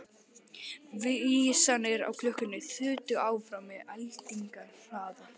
Vísarnir á klukkunni þutu áfram með eldingarhraða.